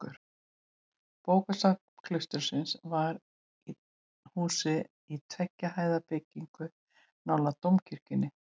Bókasafn klaustursins var til húsa í tveggja hæða byggingu nálægt dómkirkjunni.